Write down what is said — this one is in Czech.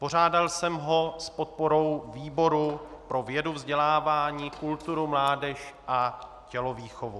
Pořádal jsem ho s podporou výboru pro vědu, vzdělávání, kulturu, mládež a tělovýchovu.